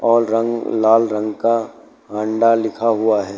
और रंग लाल रंग का हांडा लिखा हुआ है।